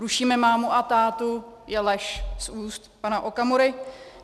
Rušíme mámu a tátu je lež z úst pana Okamury.